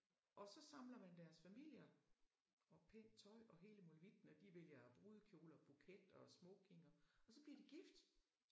Og så samler man deres familier og pænt tøj og hele molevitten og de vælger brudekjole og buket og smoking og og så bliver de gift